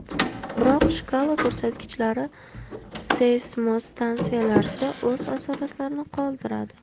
Biroq shkala ko‘rsatkichlari seysmostansiyalarda o‘z asoratlarini qoldiradi.